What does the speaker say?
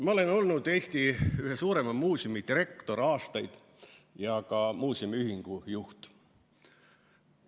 Ma olen olnud Eesti ühe suurema muuseumi direktor aastaid ja ka muuseumiühingu juht.